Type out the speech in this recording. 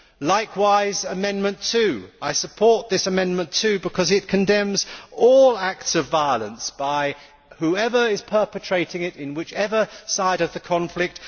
Likewise, Amendment 2 I support this amendment too because it condemns all acts of violence by whoever is perpetrating them, on whatever side of the conflict.